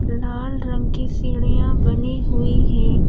लाल रंग की सीढ़ियां बनी हुई है।